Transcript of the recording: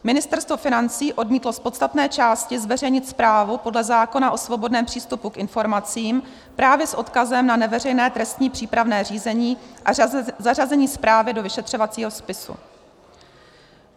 Ministerstvo financí odmítlo z podstatné části zveřejnit zprávu podle zákona o svobodném přístupu k informacím právě s odkazem na neveřejné trestní přípravné řízení a zařazení zprávy do vyšetřovacího spisu.